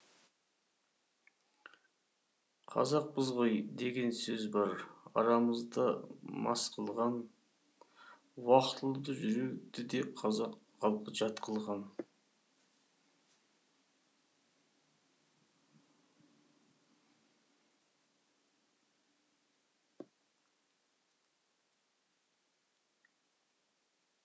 қазақпыз ғой деген сөз бар арамызда мас қылған уақытылы жүруді де қазақ халқы жат қылған